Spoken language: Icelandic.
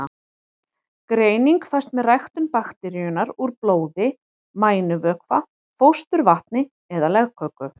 Greining fæst með ræktun bakteríunnar úr blóði, mænuvökva, fósturvatni eða legköku.